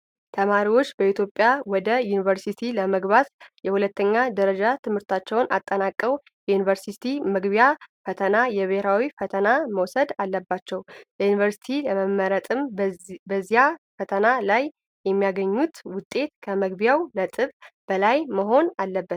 ተማሪዎች በኢትዮጵያ ወደ ዩኒቨርሲቲ ለመግባት የሁለተኛ ደረጃ ትምህርታቸውን አጠናቀው፣ የዩኒቨርሲቲ መግቢያ ፈተና (የብሔራዊ ፈተና) መውሰድ አለባቸው። ለዩኒቨርሲቲ ለመመረጥም በዚያ ፈተና ላይ የሚያገኙት ውጤት ከመግቢያ ነጥቡ በላይ መሆን አለበት።